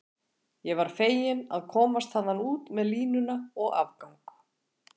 Ég var fegin að komast þaðan út með línuna og afgang